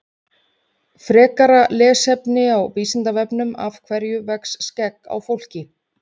frekara lesefni á vísindavefnum af hverju vex skegg á fólki